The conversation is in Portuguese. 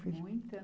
Muita